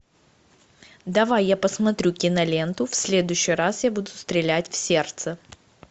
давай я посмотрю киноленту в следующий раз я буду стрелять в сердце